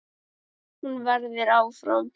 Hún verður áfram.